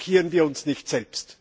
Blockieren wir uns nicht selbst!